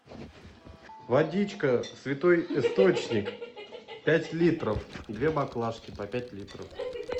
водичка святой источник пять литров две баклажки по пять литров